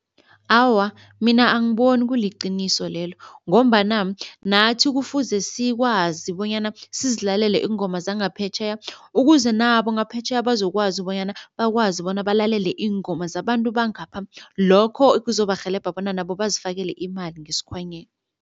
Awa, mina angiboni kuliqiniso lelo ngombana nathi kufuze sikwazi bonyana sizilalele iingoma zangaphetjheya ukuze nabo ngaphetjheya bazokwazi bonyana bakwazi bona balalele iingoma zabantu bangapha, lokho kuzobarhelebha bona nabo bazifakele imali ngesikhwanyeni.